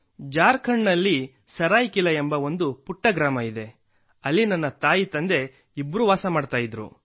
ಜಾರ್ಖಂಡ್ನಲ್ಲಿ ಸರಾಯಿಕೆಲಾ ಎಂಬ ಒಂದು ಪುಟ್ಟ ಗ್ರಾಮವಿದೆ ಅಲ್ಲಿ ನನ್ನ ತಂದೆತಾಯಿ ಇಬ್ಬರೂ ವಾಸಿಸುತ್ತಿದ್ದರು